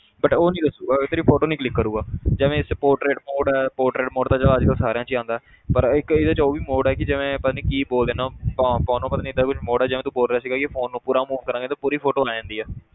But ਉਹ ਨੀ ਦੱਸੇਗਾ ਤੇਰੀ photo ਨੀ click ਕਰੇਗਾ ਜਿਵੇਂ ਇਹ 'ਚ portrait mode ਹੈ portrait ਤਾਂ ਚੱਲ ਅੱਜ ਕੱਲ੍ਹ ਸਾਰਿਆਂ 'ਚ ਹੀ ਆਉਂਦਾ ਹੈ ਪਰ ਇੱਕ ਇਹਦੇ 'ਚ ਉਹ ਵੀ mode ਹੈ ਕਿ ਜਿਵੇਂ ਪਤਾ ਨੀ ਬੋਲਦੇ ਆ ਨਾਂ ਪਤਾ ਨੀ ਏਦਾਂ ਕੁਛ mode ਹੈ ਜਿਵੇਂ ਤੂੰ ਬੋਲ ਰਿਹਾ ਸੀਗਾ ਕਿ phone ਨੂੰ ਪੂਰਾ move ਕਰਾਂਗੇ ਤੇ ਪੂਰੀ photo ਆ ਜਾਂਦੀ ਹੈ।